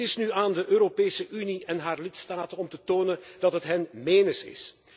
Het is nu aan de Europese Unie en haar lidstaten om te tonen dat het hen menens is.